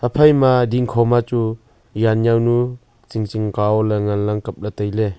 ephai ma dingkho ma chu jan jaonu chu tsing tsing ka o ley ngan ang kap ley tai le.